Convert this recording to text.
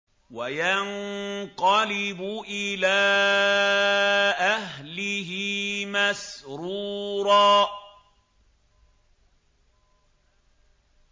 وَيَنقَلِبُ إِلَىٰ أَهْلِهِ مَسْرُورًا